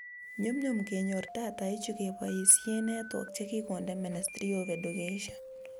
Nyumnyum kenyor data ichu keboisie network chekikonde Ministry of Education